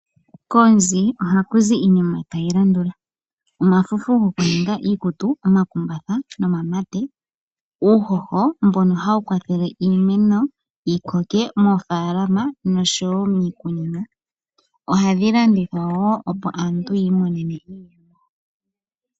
Koonzi ohaku zi iinima tayi landula: omafufu gokuninga iikutu, omakumbatha nomamate. Uuhoho mbono hawu kwathele iimeno yi koke moofaalama noshowo miikunino. Ohadhi landithwa wo opo aantu yi imonene iiyemo.